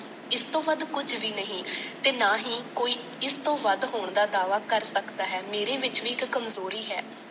ਇਸ ਤੋਂ ਵੱਧ ਕੁਝ ਵੀ ਨਹੀਂ। ਤੇ ਨਾ ਹੀ ਕੋਈ ਇਸ ਤੋਂ ਵੱਧ ਹੋਣ ਦਾ ਦਾਅਵਾ ਕਰ ਸਕਦਾ ਹੈ। ਮੇਰੇ ਵਿਚ ਵੀ ਇੱਕ ਕਮਜ਼ੋਰੀ ਹੈ।